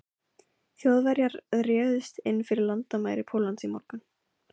Þjóðverjar réðust inn fyrir landamæri Póllands í morgun.